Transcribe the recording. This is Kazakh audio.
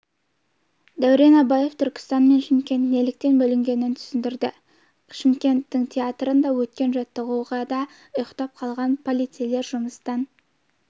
дәурен абаев түркістан мен шымкент неліктен бөлінгенін түсіндірді шымкенттің театрында өткен жаттығуда ұйықтап қалған полицейлер жұмыстан